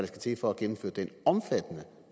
skal til for at gennemføre den omfattende